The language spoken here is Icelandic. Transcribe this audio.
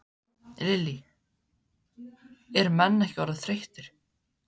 Lillý: Er menn ekki orðnir þreyttir?